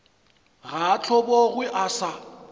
ga a hlobogwe a sa